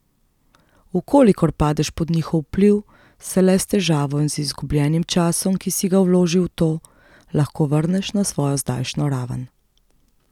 V kolikor padeš pod njihov vpliv, se le s težavo in z izgubljenim časom, ki si ga vložil v to, lahko vrneš na svojo zdajšnjo raven.